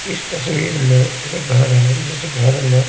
इस तस्वीर में घर हैघर में।